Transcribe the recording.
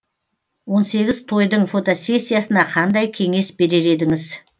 он сегіз тойдың фотосессиясына қандай кеңес берер едіңіз